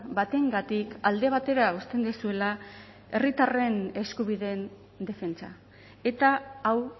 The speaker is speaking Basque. batengatik alde batera uzten duzuela herritarren eskubideen defentsa eta hau